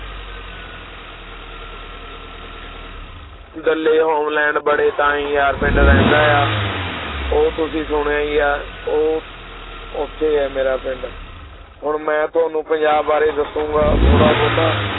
Holland ਬੜੇ ਤਾਈਂ ਪਿੰਡ ਰਹਿੰਦਾ ਆ ਉਹ ਤੁਸੀਂ ਸੁਣਿਆ ਹੀ ਹੈ ਉਹ ਉੱਥੇ ਹੈ ਮੇਰਾ ਪਿੰਡ ਹੁਣ ਮੈਂ ਤੁਹਾਨੂੰ ਪੰਜਾਬ ਬਾਰੇ ਦੱਸਾਂਗਾ ਥੋੜ੍ਹਾ ਬਹੁਤਾ